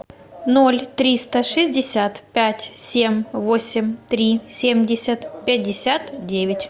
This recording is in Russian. ноль триста шестьдесят пять семь восемь три семьдесят пятьдесят девять